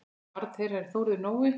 Barn þeirra er Þórður Nói.